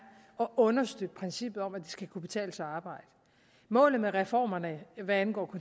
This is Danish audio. at understøtte princippet om at det skal kunne betale sig at arbejde målet med reformerne er hvad angår